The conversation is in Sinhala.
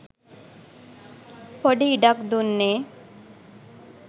පොඩි ඉඩක් දුන්නේ.